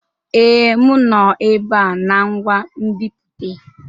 Ee, m nọ ebe a na ngwa nbipute.